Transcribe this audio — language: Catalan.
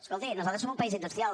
escolti nosaltres som un país industrial